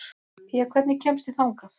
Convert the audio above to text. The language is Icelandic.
Pía, hvernig kemst ég þangað?